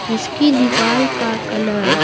जिसकी दीवार का कलर --